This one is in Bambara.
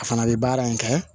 A fana bɛ baara in kɛ